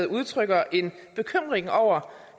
udtrykker en bekymring over